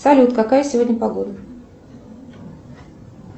салют какая сегодня погода